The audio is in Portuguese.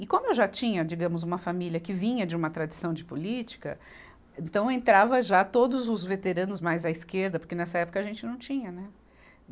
E como eu já tinha, digamos, uma família que vinha de uma tradição de política, então entrava já todos os veteranos mais à esquerda, porque nessa época a gente não tinha, né?